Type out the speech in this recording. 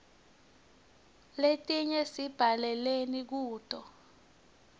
letinye sibhalela kuto